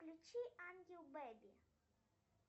включи ангел беби